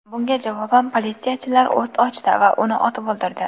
Bunga javoban politsiyachilar o‘t ochdi va uni otib o‘ldirdi.